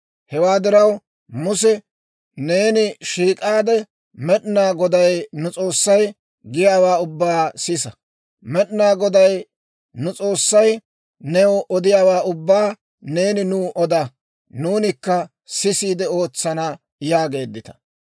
Hewaa diraw, Muse! Neeni shiik'aade, Med'inaa Goday nu S'oossay giyaawaa ubbaa sisa; Med'inaa Goday nu S'oossay new odiyaawaa ubbaa neeni nuw oda; nuunikka sisiide ootsana› yaageeddita.